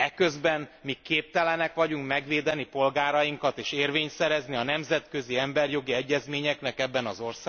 Eközben mi képtelenek vagyunk megvédeni polgárainkat, és érvényt szerezni a nemzetközi emberi jogi egyezményeknek ebben az